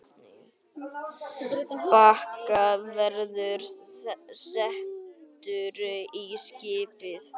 Bakki verður settur á skipið.